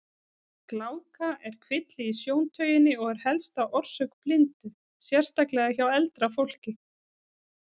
Gláka er kvilli í sjóntauginni og er helsta orsök blindu, sérstaklega hjá eldra fólki.